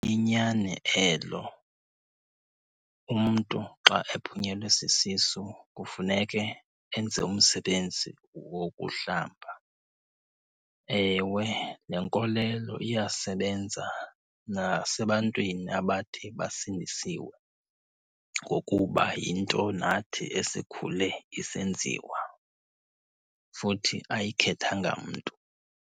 Liyinyani elo. Umntu xa ephunyelwe sisisu kufuneke enze umsebenzi wokuhlamba. Ewe, le nkolelo iyasebenza nasebantwini abathe basindisiwe ngokuba yinto nathi esikhule isenziwa, futhi ayikhethanga mntu.